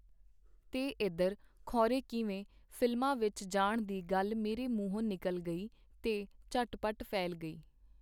ਤੇ ਏਧਰ, ਖੋਰੇ ਕਿਵੇਂ, ਫ਼ਿਲਮਾਂ ਵਿਚ ਜਾਣ ਦੀ ਗੱਲ ਮੇਰੇ ਮੂੰਹੋਂ ਨਿਕਲ ਗਈ, ਤੇ ਝਟਪਟ ਫੈਲ ਗਈ.